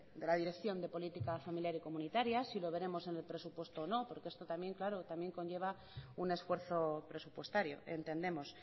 de la dirección de política familiar y comunitaria si lo veremos en el presupuesto o no porque esto también claro también conlleva un esfuerzo presupuestario entendemos